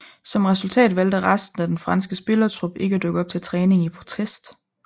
Som resultat valgte resten af det franske spillertrup ikke at dukke op til træning i protest